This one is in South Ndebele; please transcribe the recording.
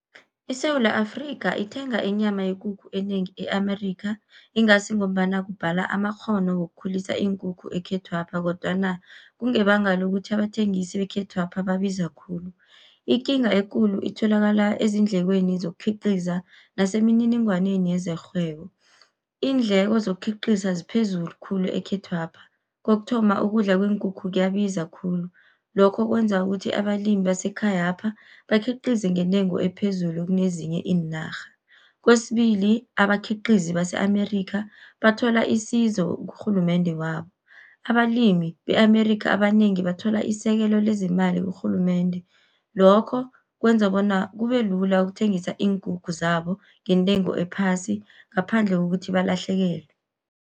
ISewula Afrikha, ithenga inyama yekukhu enengi e-Amerikha, ingasi ngombana kubhala amakghono wokukhulisa iinkukhu ekhethwapha, kodwana kungebanga lokuthi abathengisi bekhethwapha babiza khulu. Ikinga ekulu itholakala ezindlekweni zokukhiqiza nasemininingwaneni yezerhwebo. Iindleko zokukhiqiza ziphezulu khulu ekhethwapha. Kokuthoma, ukudla kweenkukhu kuyabiza khulu, lokho kwenza ukuthi abalimi basekhayapha bakhiqize ngentengo ephezulu kunezinye iinarha. Kwesibili abakhiqizi base-Amerikha, bathola isizo kurhulumende wabo, abalimi be-Amerikha, abanengi bathola isekelo lezimali kurhulumende. Lokho kwenza bona kube lula ukuthengisa iinkukhu zabo, ngentengo ephasi ngaphandle kokuthi balahlekelwe.